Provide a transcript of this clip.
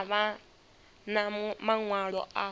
a vha na maṅwalo a